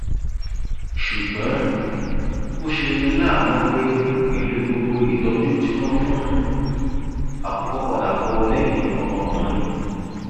ṣùgbọn ó ṣe ní láàánú pé pẹlú gbogbo ìtọjú tí wọn fún un àkùkọ padà kò lẹyìn ọmọkùnrin